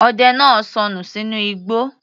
Ọdẹ náà sọnù sínú igbó